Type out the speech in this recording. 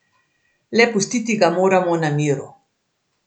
Le pustiti ga moramo na miru.